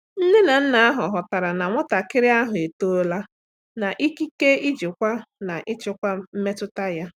Nne na nna ahụ ghọtara na nwatakịrị ahụ etoola n'ikike ijikwa na ịchịkwa mmetụta ya.